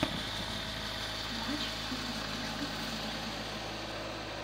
матч из английской премьер лиги